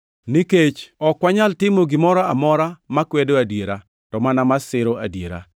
Nikech ok wanyal timo gimoro amora makwedo adiera, to mana ma siro adiera.